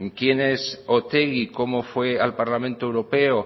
quién es otegi cómo fue al parlamento europeo